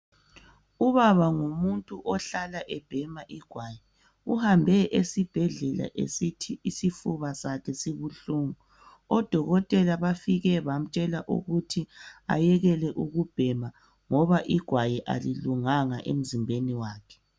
ubaba ngumuntu ohlala ebhema igwayi uhambe esibhedlela esithi isifuba sakhe sibuhlungu odkotela bafike bamtshela ukuthi ayekele ukubhema ngoba igwayi alilunganga emzimbeni wakhe